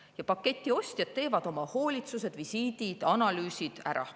Ja paketi ostjad teevad oma hoolitsused, visiidid, analüüsid ära.